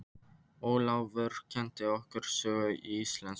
Ólafur kenndi okkur sögu og íslensku.